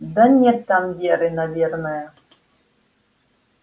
да нет там веры наверное